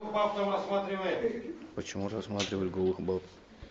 почему рассматривают голых баб